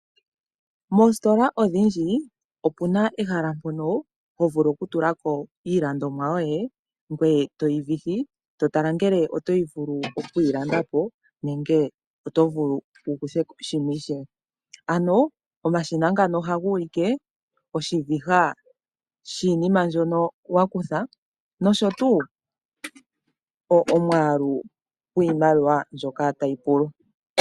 Moostola odhindjii opuna ehala mpono hovulu kutula ko iilandomwa yoye ngoye toyi vihi , to tala ngele oto vulu oku yi landa po nenge oto vulu wu kuthiko shimwe ishewe. Ano omashina ngano oha ga ulike oshiviha shiinima mbyono wakutha nosho tuu omwaalu gwiimaliwa mbyoka tayi pulwa.